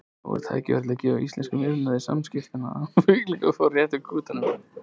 Nú er tækifæri til að gefa íslenskum iðnaði, skipasmíðaiðnaðinum, möguleika á að rétta úr kútnum.